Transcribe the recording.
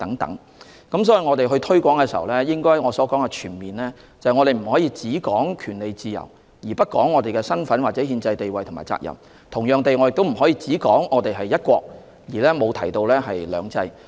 所以，當我們進行推廣工作時，我所指的全面推廣是，我們不可只談權利自由，而不談身份、憲制地位或責任；同樣地，我亦不可只談"一國"，而不提"兩制"。